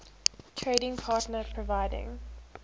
trading partner providing